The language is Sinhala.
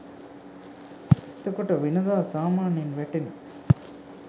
එතකොට වෙනදා සාමාන්‍යයෙන් වැටෙන